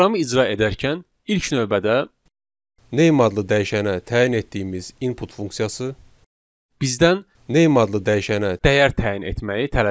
Proqramı icra edərkən ilk növbədə Name adlı dəyişənə təyin etdiyimiz input funksiyası bizdən Name adlı dəyişənə dəyər təyin etməyi tələb edir.